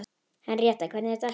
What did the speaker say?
Henríetta, hvernig er dagskráin?